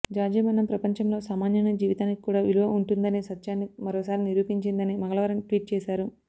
George మరణం ప్రపంచంలో సామాన్యుని జీవితానికి కూడా విలువ ఉంటుందనే సత్యాన్ని మరోసారి నిరూపించిందని మంగళవారం ట్వీట్ చేశారు